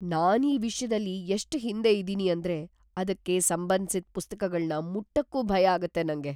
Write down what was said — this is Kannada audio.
ನಾನ್ ಈ ವಿಷ್ಯದಲ್ಲಿ ಎಷ್ಟ್ ಹಿಂದೆ ಇದೀನಿ ಅಂದ್ರೆ ಅದಕ್ಕೆ ಸಂಬಂಧ್ಸಿದ್ ಪುಸ್ತಕಗಳ್ನ ಮುಟ್ಟಕ್ಕೂ ಭಯ ಆಗತ್ತೆ ನಂಗೆ.